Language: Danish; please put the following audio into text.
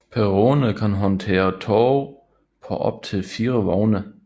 Perronerne kan håndtere tog på op til fire vogne